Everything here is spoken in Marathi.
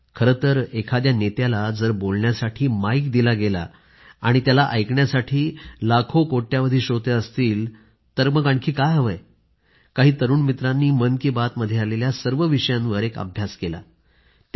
खरंतर एखाद्या नेत्याला जर बोलायला माईक दिला गेला आणि त्याला ऐकण्यासाठी लाखोकोट्यवधी श्रोते असतील तर मग आणखी काय हवंय काही तरूण मित्रांनी मन की बात मध्ये आलेल्या सर्व विषयांवर एक अभ्यास केला आहे